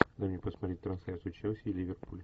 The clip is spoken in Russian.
дай мне посмотреть трансляцию челси ливерпуль